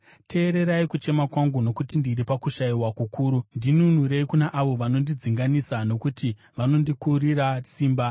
Teererai kuchema kwangu, nokuti ndiri pakushayiwa kukuru; ndinunurei kuna avo vanondidzinganisa, nokuti vanondikurira simba.